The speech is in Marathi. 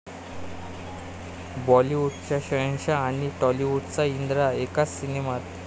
बॉलिवूडचा 'शहेनशहा' आणि टॉलिवूडचा 'इंद्रा' एकाच सिनेमात